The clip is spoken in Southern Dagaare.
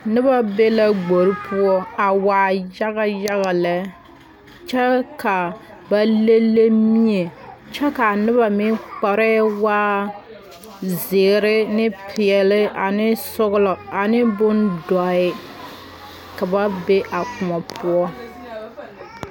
Noba be la gbore poʊ a waa yaga yaga lɛ. Kyɛ ka ba le le miiɛ. Kyɛ kaa noba meŋ kpareɛ waa ziire, ne piɛle ane, sɔglɔ, ane boŋ duoe ka ba be a koɔ poʊ.